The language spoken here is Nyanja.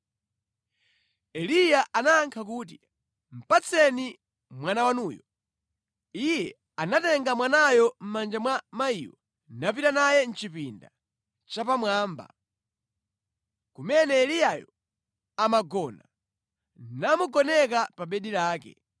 Eliya anayankha kuti, “Patseni mwana wanuyo.” Iye anatenga mwanayo mʼmanja mwa mayiyo napita naye mʼchipinda chapamwamba, kumene Eliyayo amagona, namugoneka pa bedi lake.